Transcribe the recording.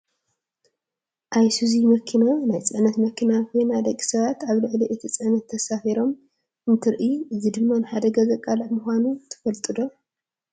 ኣይሱዚ መኪና ናይ ፅዕነት መኪና ኮይና ደቂ ሰባት ኣብ ልዕሊ እቲ ፅዕነት ተሳፊሮም እንትንርኢ እዚ ድማ ንሓደጋ ዘቃልዕ ምኳኑ ትፈልጡ ዶ ?